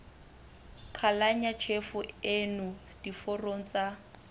qhalanya tjhefo ena diforong tsa